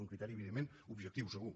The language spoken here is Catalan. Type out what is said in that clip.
un criteri evidentment objectiu segur